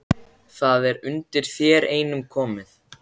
Það er undir þér einum komið